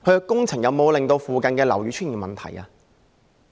工程有否令附近樓宇出現問題？